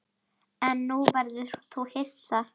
En nú verður þú hissa!